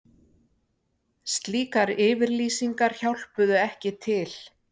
Slíkar yfirlýsingar hjálpuðu ekki til